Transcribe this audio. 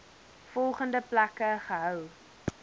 volgende plekke gehou